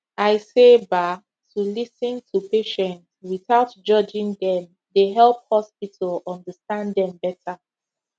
i say ba to lis ten to patient without judging dem dey help hospital understand dem better